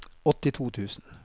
åttito tusen